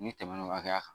N'i tɛmɛn'o hakɛya kan